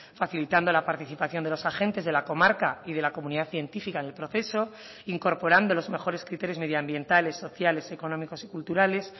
facilitando la participación de los agentes de la comarca y de la comunidad científica en el proceso incorporando los mejores criterios medioambientales sociales económicos y culturales